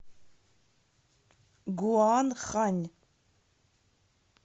гуанхань